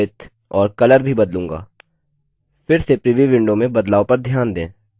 फिर से preview window में बदलाव पर ध्यान दें